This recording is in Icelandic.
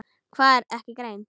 Hann var ekki einn.